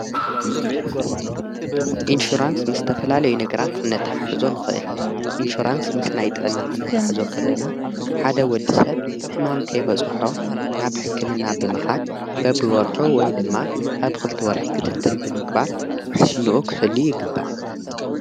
ኢንሽራንስ ምስ ተፈላልይዮ ነገራት ኽነታ ሓሕዞ ንኽእል ኢንሹራንስ ምስ ናይ ጥዕና ኽነታ ኣሕዞ ኸለና ሓደ ወዲ ሰብ ሕማም ከይመጾሖ ናብ ሕክምና ብምኻድ በብወርኁ ወይ ድማ ኣብ ኽልቲ ወርሒ ክትትል ብምግባር ውሕሱንኡ ኽሕሉ ይግባእ።